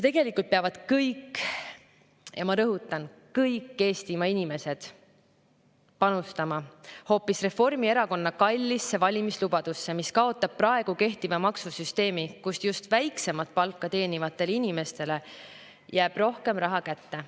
Tegelikult peavad kõik – ja ma rõhutan, kõik – Eestimaa inimesed panustama hoopis Reformierakonna kallisse valimislubadusse, mis kaotab praegu kehtiva maksusüsteemi, mille puhul just väiksemat palka teenivatele inimestele jääb rohkem raha kätte.